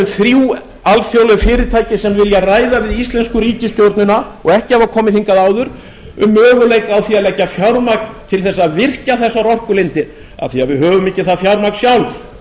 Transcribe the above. þrjú alþjóðleg fyrirtæki sem vilja ræða við íslensku ríkisstjórnina og ekki hafa komið hingað áður um möguleika á að leggja fjármagn til þess að virkja þessar orkulindir af því við höfum ekki það fjármagn sjálf